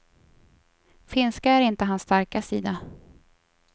Finska är inte hans starka sida.